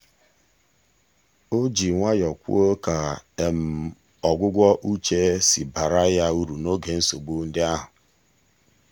o ji nwayọ kwuo ka ọgwụgwọ uche si baara ya uru n'oge nsogbu ndị ahụ.